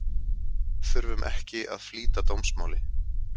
Þurfum ekki að flýta dómsmáli